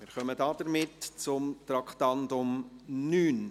Somit kommen wir zum Traktandum 9.